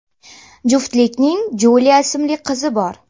Juftlikning Julia ismli qizi bor.